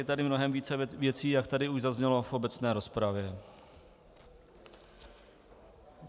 Je tady mnohem více věcí, jak tady už zaznělo v obecné rozpravě.